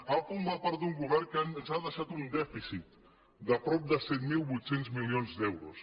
han format d’un govern que ens ha deixat un dèficit de prop de set mil vuit cents milions d’euros